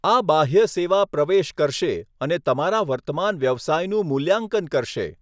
આ બાહ્ય સેવા પ્રવેશ કરશે અને તમારા વર્તમાન વ્યવસાયનું મૂલ્યાંકન કરશે.